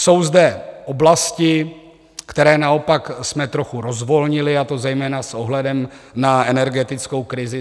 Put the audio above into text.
Jsou zde oblasti, které naopak jsme trochu rozvolnili, a to zejména s ohledem na energetickou krizi.